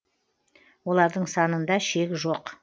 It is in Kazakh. олардың санында шек жоқ